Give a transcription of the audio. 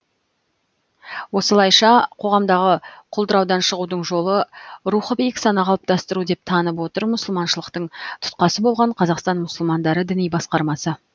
осылайша қоғамдағы құлдыраудан шығудың жолы рухы биік сана қалыптастыру деп танып отыр мұсылманшылықтың тұтқасы болған қазақстан мұсылмандары діни басқармасы